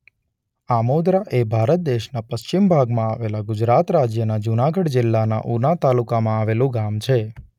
આમોદરા એ ભારત દેશના પશ્ચિમ ભાગમાં આવેલા ગુજરાત રાજ્યના જૂનાગઢ જિલ્લાના ઉના તાલુકામાં આવેલું ગામ છે.